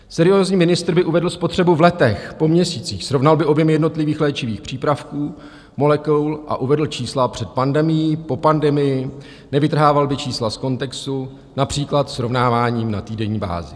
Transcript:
Seriózní ministr by uvedl spotřebu v letech, po měsících, srovnal by objem jednotlivých léčivých přípravků, molekul a uvedl čísla před pandemií, po pandemii, nevytrhával by čísla z kontextu, například srovnáváním na týdenní bázi.